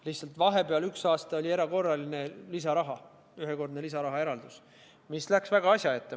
Lihtsalt vahepeal oli üks aasta erakorraline lisaraha, ühekordne lisarahaeraldus, mis läks väga asja ette.